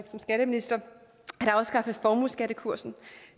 som skatteminister at afskaffe formueskattekursen